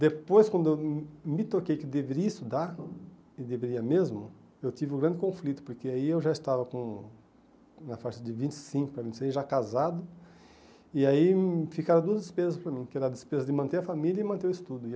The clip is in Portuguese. Depois, quando eu me me toquei que deveria estudar, e deveria mesmo, eu tive um grande conflito, porque aí eu já estava com na faixa de vinte e cinco, vinte e seis, já casado, e aí ficaram duas despesas para mim, que era a despesa de manter a família e manter o estudo e.